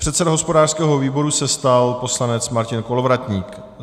Předsedou hospodářského výboru se stal poslanec Martin Kolovratník.